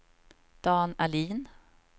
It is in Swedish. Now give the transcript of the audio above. Dan Ahlin